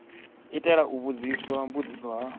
itela u vhudziswa mbudziso ha